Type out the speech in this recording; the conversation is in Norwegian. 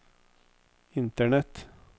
internett